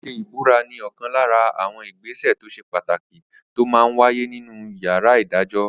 Ṣíṣe ìbúra ní ọ̀kan lára àwọn ìgbésẹ̀ tó ṣe pàtàkì tó máa n wáyé nínu yàrá ìdájọ́